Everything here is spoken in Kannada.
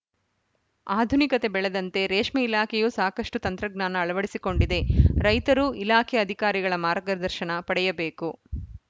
ಆಧುನಿಕತೆ ಬೆಳೆದಂತೆ ರೇಷ್ಮೆ ಇಲಾಖೆಯೂ ಸಾಕಷ್ಟುತಂತ್ರಜ್ಞಾನ ಅಳವಡಿಸಿಕೊಂಡಿದೆ ರೈತರು ಇಲಾಖೆ ಅಧಿಕಾರಿಗಳ ಮಾರ್ಗದರ್ಶನ ಪಡೆಯಬೇಕು